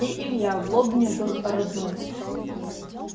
и илья в лобне был родной